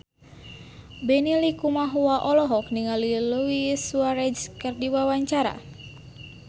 Benny Likumahua olohok ningali Luis Suarez keur diwawancara